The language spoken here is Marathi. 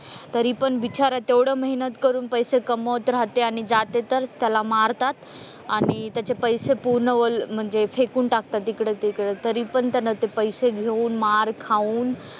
तरी पण बिचारा तेवढं मेहनत करून पैसे कमवत रहाते आणि जाते तर त्याला मारतात आणि त्याचे पैसे पूर्ण ओले म्हणजे फेकून टाकतात इकडं तिकडं तरी पण त्यांना ते पैसे घेऊन मार खाऊन,